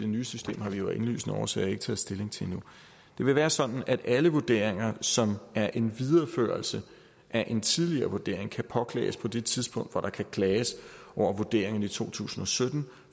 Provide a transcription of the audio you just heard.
nye system har vi jo af indlysende årsager ikke taget stilling til endnu det vil være sådan at alle vurderinger som er en videreførelse af en tidligere vurdering kan påklages på det tidspunkt hvor der kan klages over vurderingen i to tusind og sytten